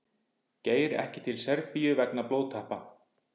Geir ekki til Serbíu vegna blóðtappa